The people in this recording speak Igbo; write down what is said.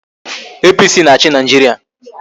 APC na-achị Nigeria